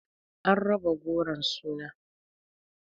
An raba goron suna